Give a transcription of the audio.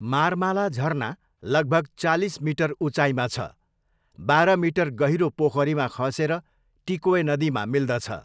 मार्माला झरना लगभग चालिस मिटर उचाइमा छ, बाह्र मिटर गहिरो पोखरीमा खसेर टिकोय नदीमा मिल्दछ।